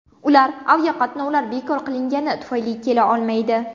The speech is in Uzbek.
Ular aviaqatnovlar bekor qilingani tufayli kela olmaydi.